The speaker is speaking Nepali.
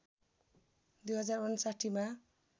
२०५९ मा